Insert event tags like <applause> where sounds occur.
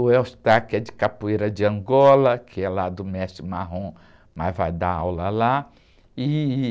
O, <unintelligible> que é de Capoeira de Angola, que é lá do Mestre Marrom, mas vai dar aula lá. E...